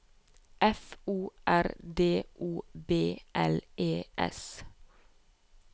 F O R D O B L E S